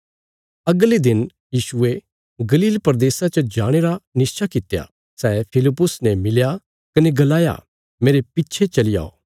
अगले दिन यीशुये गलील प्रदेशा च जाणे रा निश्चा कित्या सै फिलिप्पुस ने मिलया कने गलाया मेरे पिच्छे चली औ